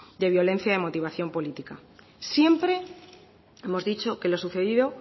de violencia y motivación política siempre hemos dicho que lo sucedido